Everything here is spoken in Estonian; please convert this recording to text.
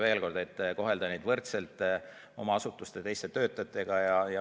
Veel kord: soov on kohelda juhte võrdselt nende asutuste teiste töötajatega.